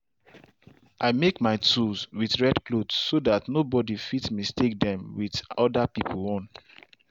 i make my tools with red cloth so that no body fit mistake them with other pipo own.